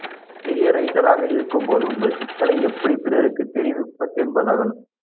பெரிய ரைட்டராக இருக்கும்போது உள்ள சிக்கலே அதை எப்படி பிறருக்கு தெரிவிப்பதென்பதுதான்